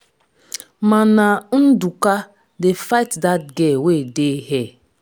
mana ndụka dey fight dat girl wey dey hair.